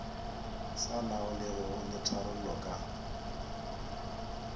sa laolegego le tharollo ka